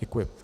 Děkuji.